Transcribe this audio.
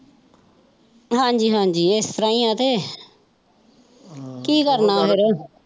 ਹਾਜੀ ਹਾਜੀ ਇਸ ਤਰਾਂ ਹੀ ਤੇ ਕੀ ਕਰਨਾ ਫੇਰ।